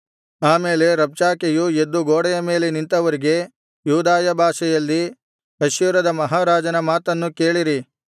ಆಮೇಲೆ ರಬ್ಷಾಕೆಯು ಎದ್ದು ಗೋಡೆಯ ಮೇಲೆ ನಿಂತವರಿಗೆ ಯೂದಾಯ ಭಾಷೆಯಲ್ಲಿ ಅಶ್ಶೂರದ ಮಹಾರಾಜನ ಮಾತನ್ನು ಕೇಳಿರಿ